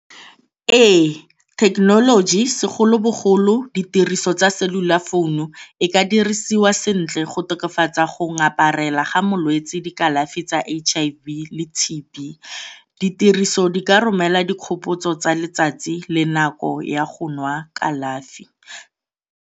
Ee, thekenoloji segolobogolo ditiriso tsa cellular founu e ka dirisiwa sentle go tokafatsa go ngaparela ga molwetse dikalafi tsa H_I_V le T_B. Diriso di ka romela dikgopotso tsa letsatsi le nako ya go nwa kalafi.